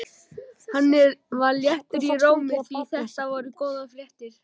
Hann var léttur í rómi því þetta voru góðar fréttir.